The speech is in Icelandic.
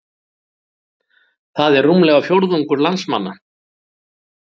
Það er rúmlega fjórðungur landsmanna